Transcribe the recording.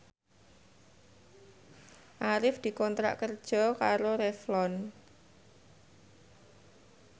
Arif dikontrak kerja karo Revlon